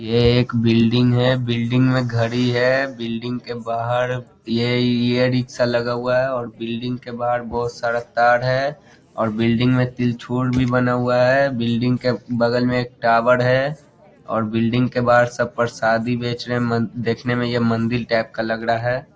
ये एक बिल्डिंग है बिल्डिंग में घड़ी है बिल्डिंग के बाहर ये इ रिक्शा लगा हुआ है और बिल्डिंग के बाहर बहुत सारा तार है और बिल्डिंग में त्रिशूल भी बना हुआ है बिल्डिंग के बगल में एक टॉवर है और बिल्डिंग के बाहर सब परसादी बेच रे देखने यह मंदिर टाइप का लग रहा है।